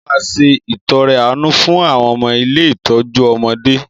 Mo máa se ìtọre àánú fún àwọn ilé ìtọ́jú ọmọdé